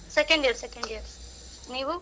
Second year second year. ನೀವು?